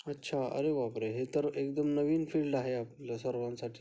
अच्छा अरे बापरे हे तर एकदम नवीन फील्ड आहे आपल्या सर्वांसाठी.